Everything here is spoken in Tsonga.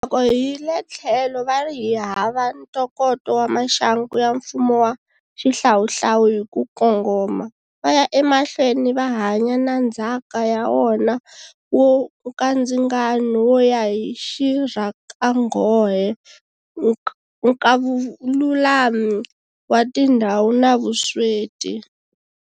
Loko hi le tlhelo va ri hi hava ntokoto wa maxangu ya mfumo wa xihlawuhlawu hi ku kongoma, va ya emahlweni va hanya na ndzhaka ya wona wo nkandzingano wo ya hi rixakanghohe, nkavululami wa tindhawu na vusweti.